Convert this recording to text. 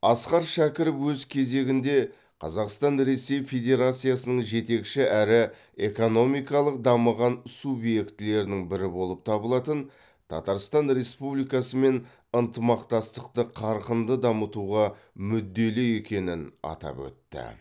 асқар шәкіров өз кезегінде қазақстан ресей федерациясының жетекші әрі экономикалық дамыған субъектілерінің бірі болып табылатын татарстан республикасымен ынтымақтастықты қарқынды дамытуға мүдделі екенін атап өтті